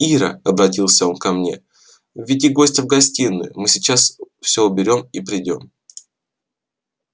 ира обратился он ко мне веди гостя в гостиную мы сейчас всё уберём и придём